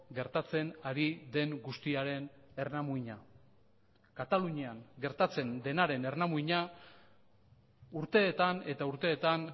gertatzen ari den guztiaren ernamuina katalunian gertatzen denaren ernamuina urteetan eta urteetan